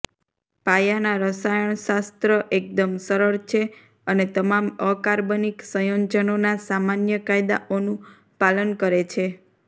પાયાના રસાયણશાસ્ત્ર એકદમ સરળ છે અને તમામ અકાર્બનિક સંયોજનોના સામાન્ય કાયદાઓનું પાલન કરે છે